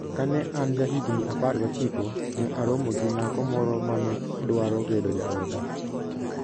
Kane an jahigini 19, ne aromo gi nyako moro ma ne dwaro bedo jaoda.